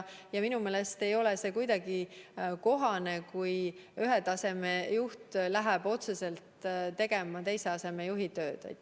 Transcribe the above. Ja minu meelest ei ole see kuidagi kohane, kui ühe taseme juht läheb tegema otseselt teise astme juhi tööd.